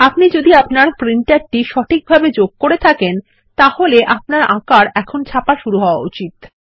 আপনি যদি আপনার প্রিন্টারটিকে সঠিকভাবে যোগ করে থাকেন তাহলে আপনার আঁকার এখন ছাপা শুরু হওয়া উচিত